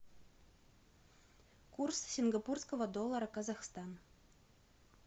курс сингапурского доллара казахстан